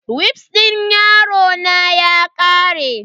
Wifs din yarona ya kare.